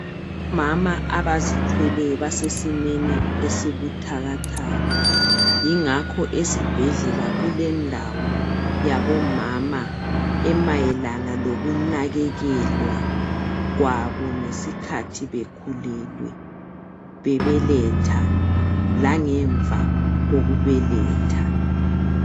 Omama abazithweleyo basesimeni esibuthakathaka yingakho esibhedlela kulendawo yabomama emayelana lokunakekelwa kwabo ngesikhathi bekhulelwe bebeletha langemva kokubeletha.